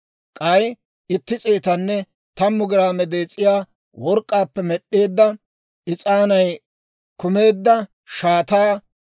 k'ay itti s'eetanne tammu giraame dees'iyaa work'k'aappe med'd'eedda, is'aanay kumeedda shaataa;